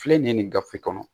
Filɛ nin gafe kɔnɔ